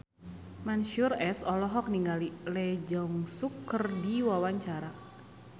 Mansyur S olohok ningali Lee Jeong Suk keur diwawancara